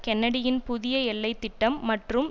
கென்னடியின் புதிய எல்லைத்திட்டம் மற்றும்